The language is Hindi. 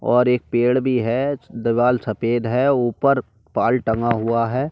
और एक पेड़ भी है। दीवाल सफेद है। ऊपर बाल टंगा हुआ है।